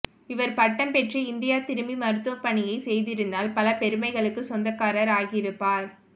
இவர் பட்டம் பெற்று இந்தியா திரும்பி மருத்துவ பணியை செய்திருந்தால் பல பெருமைகளுக்குச் சொந்தக்காரர் ஆகியிருப்பார்